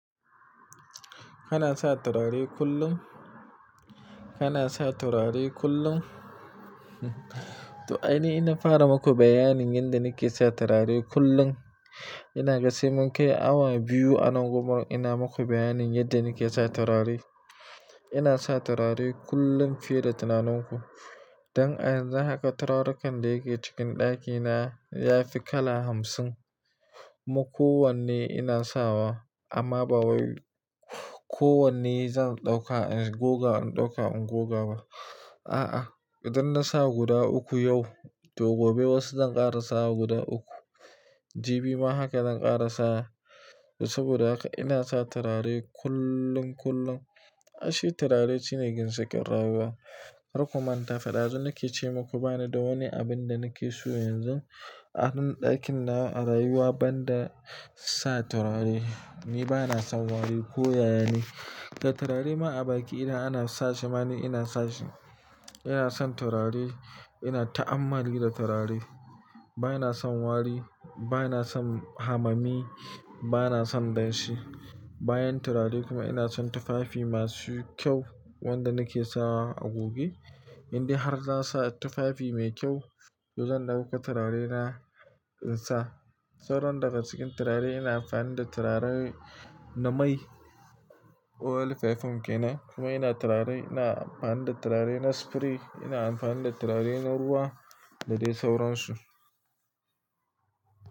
Kana sa turare kullum? Kana sa turare kullum? To, aini inna fara maku bayanin yadda nike sa turare kullum. Ina gasi mun kai awa biyu a nan gun ina maku bayanin yadda nike sa turare. Ina sa turare kullum fiye da tunaninku. Dan a yanzu haka turaren da yake cikin ɗakina ya fi kala hamsin. Kuma kowanne ina sawa amma ba wai kowanne zan ɗauka in goga in ɗauka in goga ba. A'a, idan na sa guda uku yau to gobe wasu zan ƙara sa guda uku. Jibi ma haka zan ƙara sa saboda haka ina sa turare kullun, kullum. Aishi turare shine ginshikin ƙyarawo. Rayuwa karku manta fa ɗazu nike ce maku bani da wani abin da nike so yanzu a ann ɗakin na a rayuwa banda sa turare. Ni bana son wari ko yaya ne. Da turare ma a baki idan ana sashe ma ni ina sashe. Ina son turare, ina ta'ammali da turare. Bana son wari, bana son hamami, bana son danshi. Bayan turare kuma ina son tufafi masu kyau wanda nike sawa a goge. Indai har zan sa tufafi mai kyau to zan dauko turarena in sa. Sauran daga cikin turare ina amfani da turare na mai oil-perfume ke nan kuma ina turare ina amfani da turare na spray, ina amfani da turare na ruwa da dai sauransu.